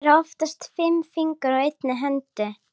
Það eru oftast fimm fingur á einni hendi.